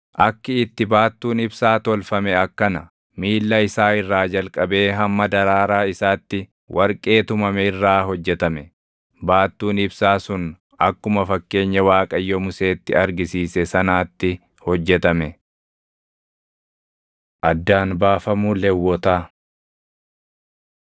Akki itti baattuun ibsaa tolfame akkana: Miilla isaa irraa jalqabee hamma daraaraa isaatti warqee tumame irraa hojjetame. Baattuun ibsaa sun akkuma fakkeenya Waaqayyo Museetti argisiise sanaatti hojjetame. Addaan Baafamuu Lewwotaa